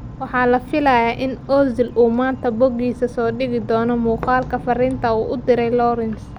Waxaa la filayaa in Ozil uu maanta bogiisa soo dhigi doono muuqaalka fariinta uu u diray Lawrence.